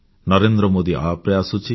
NarendraModiApp ରେ ଆସୁଛି